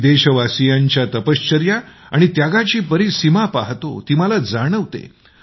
मी देशवासियांच्या तपश्चर्या आणि त्यागाची परिसीमा पहातो ती मला जाणवते